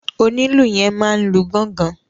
Onílù yẹn máa n lu gángan.